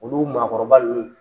Olu maakɔrɔba nunun